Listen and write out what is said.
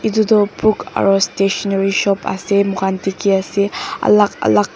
itudu book aru stationery shop ase moikhan dikhi ase alak alak--